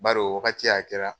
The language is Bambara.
Bar'o wagati a kɛra